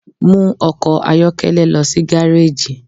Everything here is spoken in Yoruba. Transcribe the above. Mu ọkọ ayọkẹlẹ lọ si gareji!